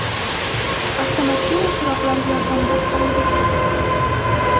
Avtomashina chiroqlari yordamida hovliga kirdik.